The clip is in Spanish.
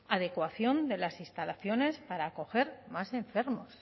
adecuación de las instalaciones para acoger más enfermos